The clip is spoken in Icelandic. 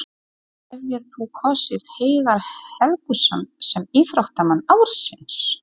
Hefðir þú kosið Heiðar Helguson sem íþróttamann ársins?